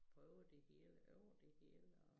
Prøvede det hele over dte hele og